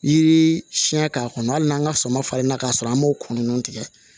Yiri siɲɛ k'a kɔnɔ hali n'an ka sama farinna ka sɔrɔ an m'o kunun ninnu tigɛ